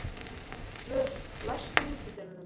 Oddvör, læstu útidyrunum.